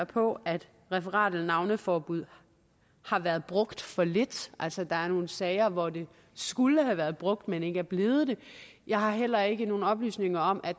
på at referat eller navneforbuddet har været brugt for lidt altså at der er nogle sager hvor det skulle have været brugt men ikke er blevet det jeg har heller ikke nogen oplysninger om at